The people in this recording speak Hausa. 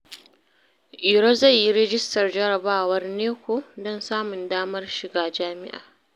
Iro zai yi rijistar jarabawar NECO don samun damar shiga Jami’a.